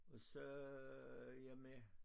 Og så er jeg med